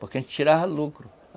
Porque a gente tirava lucro.